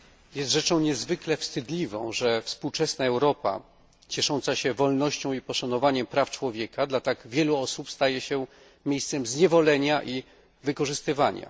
Jest rzeczą niezwykle wstydliwą, że współczesna Europa, ciesząca się wolnością i poszanowaniem praw człowieka, dla tak wielu osób staje się miejscem zniewolenia i wykorzystywania.